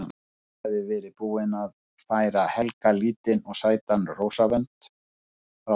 Agnes hafði verið búin að færa Helga lítinn og sætan rósavönd frá þeim